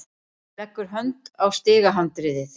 Leggur hönd á stigahandriðið.